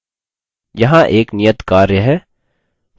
यहाँ एक नियत कार्य है: